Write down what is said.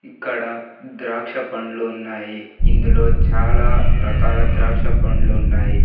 ఇక్కడ ద్రాక్ష పండ్లు ఉన్నాయి ఇందులో చాలా రకాల ద్రాక్ష పండ్లు ఉన్నాయి.